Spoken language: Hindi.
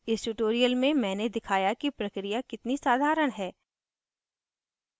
इस tutorial में मैंने दिखाया कि प्रक्रिया कितनी साधारण है